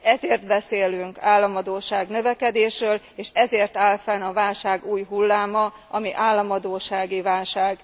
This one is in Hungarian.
Ezért beszélünk államadósság növekedésről, és ezért áll fenn a válság új hulláma, ami államadóssági válság.